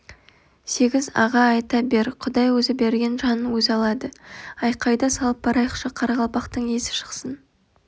сегіз аға айта бер құдай өзі берген жанын өзі алады айқайды салып барайықшы қарақалпақтың есі шықсын